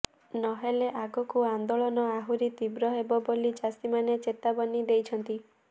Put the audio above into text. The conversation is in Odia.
ନହେଲେ ଆଗକୁ ଆନ୍ଦୋଳନ ଆହୁରୀ ତୀବ୍ର ହେବ ବୋଲି ଚାଷୀମାନେ ଚେତାବନୀ ଦେଇଛନ୍ତି